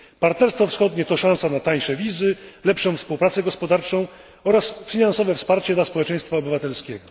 Partnerstwo wschodnie to szansa na tańsze wizy, lepszą współpracę gospodarczą oraz finansowe wsparcie dla społeczeństwa obywatelskiego.